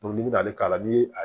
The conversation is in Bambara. n'i bɛna n'ale k'a la ni a ye